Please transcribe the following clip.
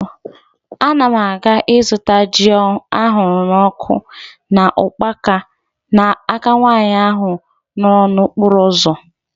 Ana m aga ịzụta ji ahụrụ n'ọkụ na ukpaka n'aka nwaanyị ahụ nọ n'okporo ụzọ